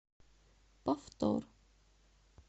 повтор